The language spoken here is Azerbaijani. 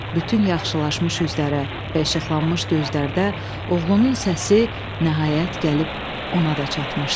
Bütün yaxşılaşmış üzlərə və işıqlanmış gözlərdə oğlunun səsi nəhayət gəlib ona da çatmışdı.